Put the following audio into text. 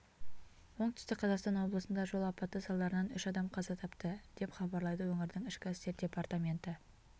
оңтүстік қазақстан облысында жол апаты салдарынан үш адам қаза тапты деп хабарлайды өңірдің ішкі істер департаменті